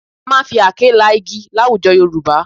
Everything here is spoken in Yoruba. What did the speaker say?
A máa ń fi àáké la igi láwùjọ Yorùbá